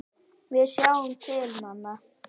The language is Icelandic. Við sjáum til, mamma.